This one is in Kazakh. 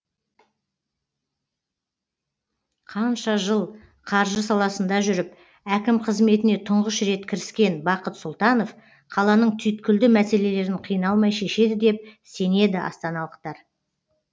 қанша жыл қаржы саласында жүріп әкім қызметіне тұңғыш рет кіріскен бақыт сұлтанов қаланың түйткілді мәселелерін қиналмай шешеді деп сенеді астаналықтар